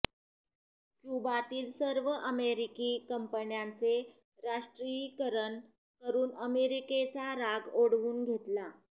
क्युबातील सर्व अमेरिकी कंपन्यांचे राष्ट्रीयीकरण करून अमेरिकेचा राग ओढवून घेतला